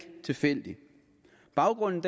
tilfældig baggrunden